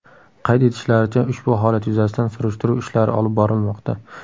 Qayd etishlaricha, ushbu holat yuzasidan surishtiruv ishlari olib borilmoqda.